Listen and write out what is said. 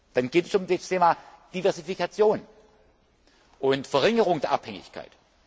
Dann geht es um das Thema Diversifikation und Verringerung der Abhängigkeit.